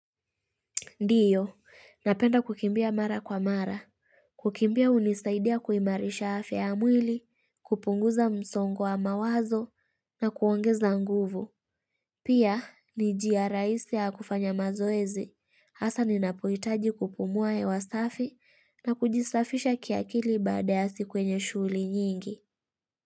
Ndiyo, napenda kukimbia mara kwa mara. Kukimbia hunisaidia kuimarisha afya mwili, kupunguza msongo wa mawazo na kuongeza nguvu. Pia, ni jia rahisi ya kufanya mazoezi. hAsa ninapohitaji kupumua hewa safi na kujisafisha kiakili baada ya siku yenye shughuli nyingi.